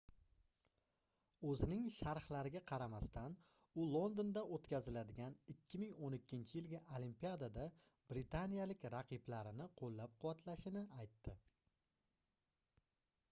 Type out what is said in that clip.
oʻzining sharhlariga qaramasdan u londonda oʻtkaziladigan 2012-yilgi olimpiadada britaniyalik raqiblarini qoʻllab-quvvatlashini aytdi